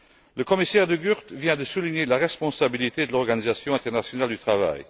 Le commissaire De Gucht vient de souligner la responsabilité de l'Organisation internationale du travail.